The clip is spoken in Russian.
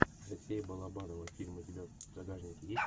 алексея балабанова фильмы у тебя в загашнике есть